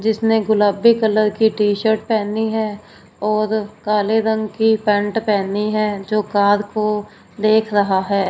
जिसने गुलाबी कलर की टी शर्ट पहनी है और काले रंग की पैंट पहनी है जो कार को देख रहा है।